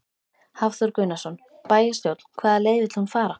Hafþór Gunnarsson: Bæjarstjórn, hvaða leið vill hún fara?